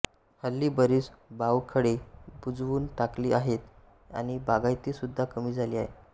हल्ली बरीच बावखळे बुजवून टाकली आहेत आणि बागायती सुद्धा कमी झाली आहे